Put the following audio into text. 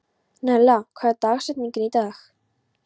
Nella, hver er dagsetningin í dag?